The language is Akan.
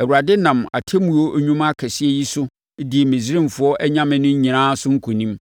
Awurade nam atemmuo nnwuma akɛseɛ yi so dii Misraimfoɔ anyame no nyinaa so nkonim.